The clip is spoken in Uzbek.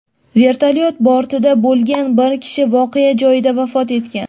Vertolyot bortida bo‘lgan bir kishi voqea joyida vafot etgan.